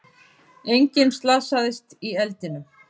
Enginn slasaðist í eldinum